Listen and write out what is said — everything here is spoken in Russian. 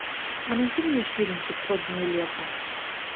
а найди мне фильм пятьсот дней лета